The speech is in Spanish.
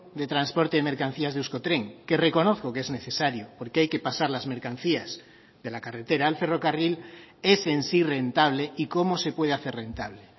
de transporte de mercancías de euskotren que reconozco que es necesario porque hay que pasar las mercancías de la carretera al ferrocarril es en sí rentable y cómo se puede hacer rentable